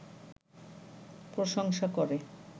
প্রশংসা করে